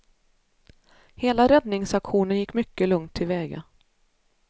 Hela räddningsaktionen gick mycket lugnt tillväga.